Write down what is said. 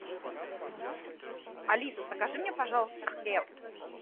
алиса закажи мне пожалуйста хлеб